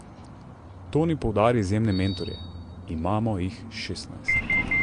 Toni poudari izjemne mentorje: "Imamo jih šestnajst.